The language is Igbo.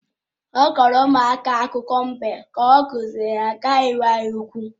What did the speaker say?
Ọ kọọrọ ụmụaka akụkọ mbe ka ọ kụziere ha ka ha ghara ịnwe anya ukwu